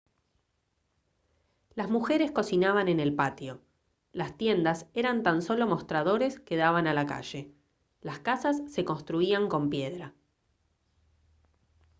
las mujeres cocinaban en el patio las tiendas eran tan solo mostradores que daban a la calle las casas se construían con piedra